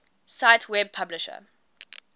cite web publisher